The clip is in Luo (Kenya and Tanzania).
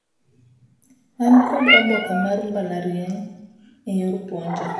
An kod oboke mar mbalariany eyor puonjo.